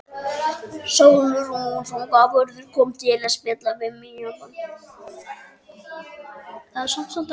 Sólrún fangavörður kom að spjalla við mig áðan.